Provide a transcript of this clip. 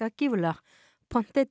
gífurlega